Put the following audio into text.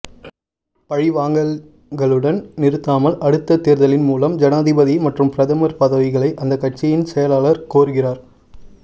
பழிவாங்கல்களுடன் நிறுத்தமால் அடுத்த தேர்தலின் மூலம் ஜனாதிபதி மற்றும் பிரதமர் பதவிகளை அந்த கட்சியின் செயலாளர் கோருகிறார்